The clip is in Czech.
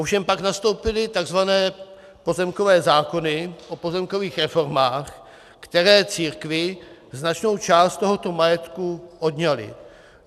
Ovšem pak nastoupily takzvané pozemkové zákony o pozemkových reformách, které církvi značnou část tohoto majetku odňaly.